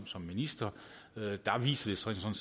som minister viser